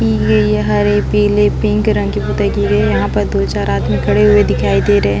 पिले ये हरे पिले पिंक रंग के पुताई की गए है यहाँ पर दो चार आदमी खड़े हुए दिखाई दे रहे है।